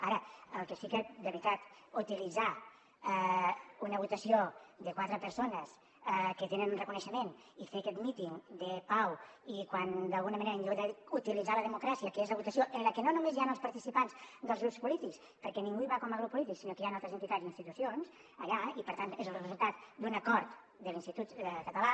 ara el que sí que de veritat utilitzar una votació de quatre persones que tenen un reconeixement i fer aquest míting de pau i quan d’alguna manera en lloc d’utilitzar la democràcia que és la votació en què no només hi han els participants dels grups polítics perquè ningú hi va com a grup polític sinó que hi han altres entitats i institucions allà i per tant és el resultat d’un acord de l’institut català